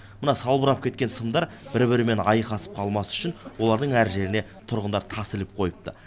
мына салбырап кеткен сымдар бір бірімен айқасып қалмас үшін олардың әр жеріне тұрғындар тас іліп қойыпты